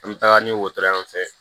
An bɛ taga ni wotoro yan fɛn fɛ